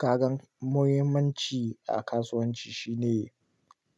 Kagan muhimmanci a kasuwanci shine